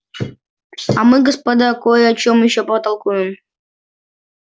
а мы господа кой о чем ещё потолкуем